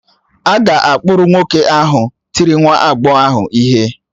A ga-akpụrụ nwoke ahụ tiri nwa agbọghọ ahụ ihe.